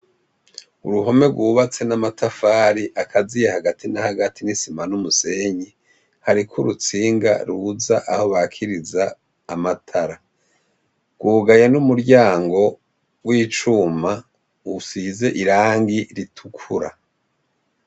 Uruhome rw'ubatse n'amatafari akaziye hagati na hagati n'isima n'umusenyi, hariko urutsinga rubuza aho bakiriza amatara, rwugaye n'umuryango w'icuma usize irangi ritukura.